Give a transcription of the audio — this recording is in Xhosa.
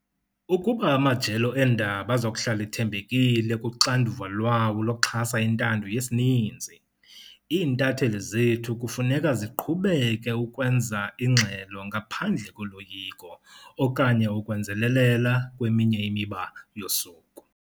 Ukuba amajelo eendaba azokuhlala ethembekile kuxanduva lwawo lokuxhasa intando yesininzi, iintatheli zethu kufuneka ziqhubeke ukwenza ingxelo ngaphandle koloyiko okanye ukwenzelelela kweminye imiba yosuku.